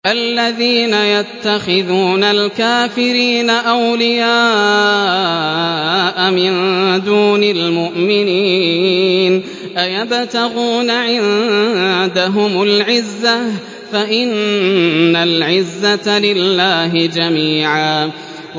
الَّذِينَ يَتَّخِذُونَ الْكَافِرِينَ أَوْلِيَاءَ مِن دُونِ الْمُؤْمِنِينَ ۚ أَيَبْتَغُونَ عِندَهُمُ الْعِزَّةَ فَإِنَّ الْعِزَّةَ لِلَّهِ جَمِيعًا